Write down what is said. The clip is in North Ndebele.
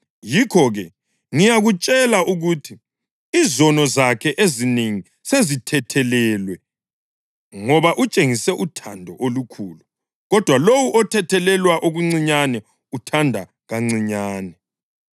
Yikho-ke ngiyakutshela ukuthi izono zakhe ezinengi sezithethelelwe, ngoba utshengise uthando olukhulu. Kodwa lowo othethelelwe okuncinyane uthanda kancinyane.”